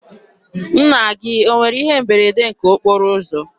Nna gị o nwere ihe mberede nke okporo ụzọ?